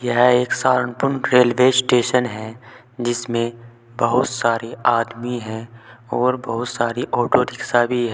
यह एक Saharanpur railway station है जिसमें बहुत सारी आदमी हैं और बहुत सारी ऑटो रिक्शा भी है।